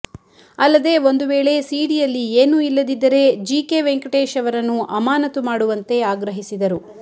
ಅಲ್ಲದೇ ಒಂದು ವೇಳೆ ಸೀಡಿಯಲ್ಲಿ ಏನೂ ಇಲ್ಲದಿದ್ದರೆ ಜಿಕೆ ವೆಂಕಟೇಶ್ ಅವರನ್ನು ಅಮಾನತು ಮಾಡುವಂತೆ ಆಗ್ರಹಿಸಿದರು